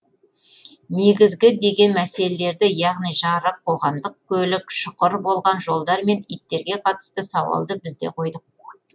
негізгі деген мәселелерді яғни жарық қоғамдық көлік шұқыр болған жолдар мен иттерге қатысты сауалды біз де қойдық